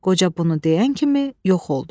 Qoca bunu deyən kimi yox oldu.